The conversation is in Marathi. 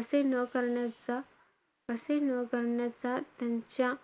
असे न करण्याचा~ असे न करण्याचा त्यांच्या,